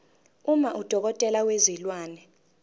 uma udokotela wezilwane